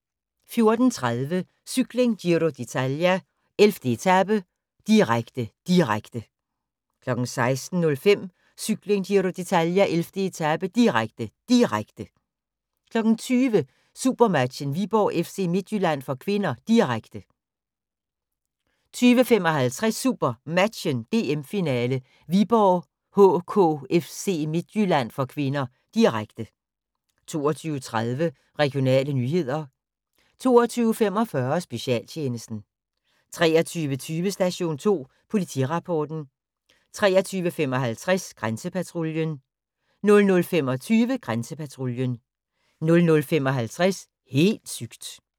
14:30: Cykling: Giro d'Italia - 11. etape, direkte, direkte 16:05: Cykling: Giro d'Italia - 11. etape, direkte, direkte 20:00: SuperMatchen: Viborg-FC Midtjylland (k), direkte 20:55: SuperMatchen: DM-finale, Viborg HK-FC Midtjylland (k), direkte 22:30: Regionale nyheder 22:45: Specialtjenesten 23:20: Station 2 Politirapporten 23:55: Grænsepatruljen 00:25: Grænsepatruljen 00:55: Helt sygt!